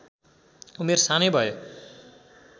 उमेर सानै भए